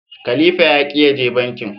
khalifa ya ki ya je bankin.